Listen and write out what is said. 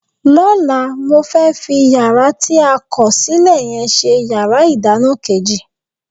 Lọ́la, mo fẹ́ fi yàrá tí a kọ̀ sílẹ̀ yẹn ṣe yàrá ìdáná kejì